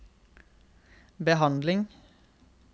behandling